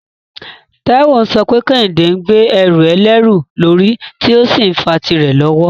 Taiwo ń sọ pé Kehinde ń gbé ẹrù ẹlẹ́rù lórí tí ó sì ń fa tìrẹ lọ́wọ́.